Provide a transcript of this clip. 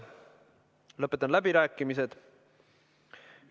Lõpetan läbirääkimised.